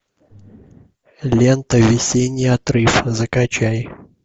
лента весенний отрыв закачай